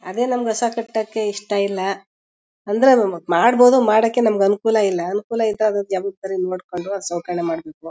ಅದೇ ನಮ್ಗೆ ಹಸ ಕಟ್ಟಕ್ಕೆ ಇಷ್ಟ ಇಲ್ಲ ಅಂದ್ರೆ ಅದ್ ಮಾಡಬೋದು ಮಾಡಕ್ಕೆ ನಮಗೆ ಅನುಕೂಲ ಇಲ್ಲ. ಅನುಕೂಲ ಇದ್ದಾಗ ಜವಾಬ್ದಾರಿಗ್ ನೋಡ್ಕೊಂಡು ಸೌಕರ್ಯ ಮಾಡಬೇಕು.